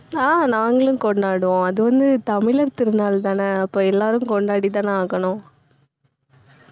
அஹ் நாங்களும் கொண்டாடுவோம். அது வந்து, தமிழர் திருநாள்தானே அப்போ எல்லாரும் கொண்டாடித்தானே ஆகணும்.